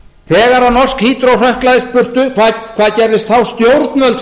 þegar norsk hydro hrökklaðist burtu hvað gerðist þá stjórnvöld fóru og